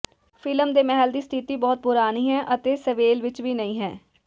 film ਦੇ ਮਹਿਲ ਦੀ ਸਥਿਤੀ ਬਹੁਤ ਪੁਰਾਣੀ ਹੈ ਅਤੇ ਸੇਵੇਲ ਵਿੱਚ ਵੀ ਨਹੀਂ ਹੈ